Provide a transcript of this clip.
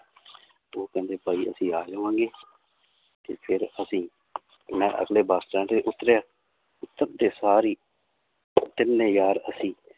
ਤੇ ਉਹ ਕਹਿੰਦੇ ਭਾਈ ਅਸੀਂ ਆ ਜਾਵਾਂਗੇ ਤੇ ਫਿਰ ਅਸੀਂ ਮੈਂ ਅਗਲੇ ਬਸ ਸਟੈਂਡ ਤੇ ਉੱਤਰਿਆ ਉਤਰਦੇ ਸਾਰ ਹੀ ਤਿੰਨੇ ਯਾਰ ਅਸੀਂ